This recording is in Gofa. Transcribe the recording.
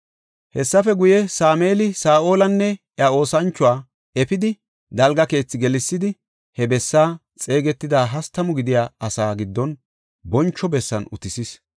Hessafe guye, Sameeli Saa7olanne iya oosanchoy efidi, dalga keethi gelsidi he bessaa xeegetida hastamu gidiya asaa giddon boncho bessan utisis.